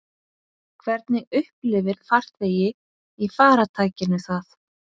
Hvernig upplifir farþegi í farartækinu það?